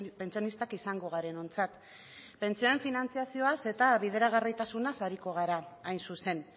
pentsionistak izango garenontzat pentsioen finantzazioaz eta bideragarritasunaz ariko gara hain zuzen